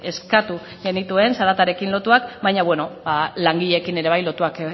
eskatu genituen zaratarekin lotuak baina langileekin ere bai lotuak